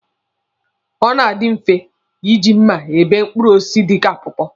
Ọ na-adi mfe iji mma ebe mkpụrụ osisi dịka pọọpọọ.